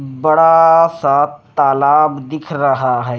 बड़ाआआआ सा तालाब दिख रहा है।